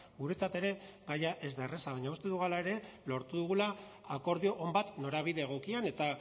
guretzat ere gaia ez da erraza baina uste dugu hala ere lortu dugula akordio on bat norabide egokian eta